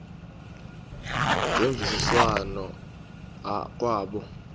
ngemvisiswano r kwabo